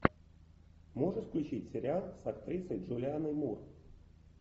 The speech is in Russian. можешь включить сериал с актрисой джулианой мур